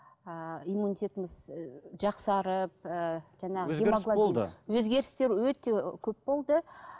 ыыы иммунитетіміз і жақсарып ііі өзгерістер өте көп болды